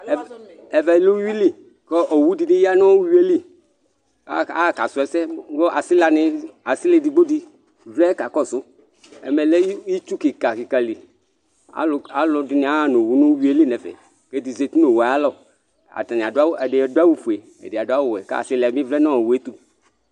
ɛvɛ lɛ uwuili k'owu di bi ya nù uwuili, aka su ɛsɛ ku asila edigbo di vlɛ ka kɔsu, ɛmɛ lɛ itsu kikakika li, aluɛdini aha nu owu n'uwuili n'ɛfɛ, k'ɛdi zati n'owue ayi alɔ, atani adu awù, ɛdini adu awù fue, ɛdi adu awù wɛ, k'asilaɛ bi vlɛ n'owue ayiɛtu